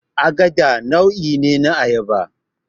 Agada nau'i ne na Ayaba